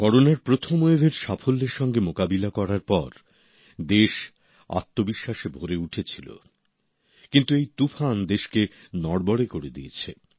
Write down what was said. করোনার প্রথম ওয়েভের সাফল্যের সঙ্গে মোকাবিলা করার পরে দেশ আত্মবিশ্বাসে ভরে উঠেছিল কিন্তু এই তুফান দেশকে নড়বড়ে করে দিয়েছে